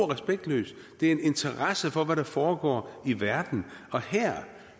respektløst det er en interesse for hvad der foregår i verden og her